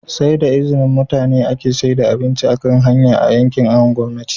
saida izini mutane ake saida abinci akan hanya a yankin awon gomnati